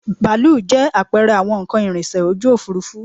Bàálù jẹ́ àpẹẹrẹ àwọn nnkan ìrìnsẹ̀ ojú òfuurufú